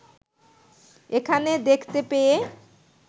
এখানে দেখতে পেয়ে